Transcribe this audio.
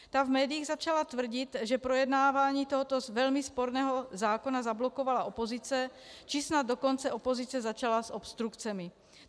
Ta v médiích začala tvrdit, že projednávání tohoto velmi sporného zákona zablokovala opozice, či snad dokonce opozice začala s obstrukcemi.